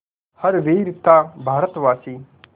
हर वीर था भारतवासी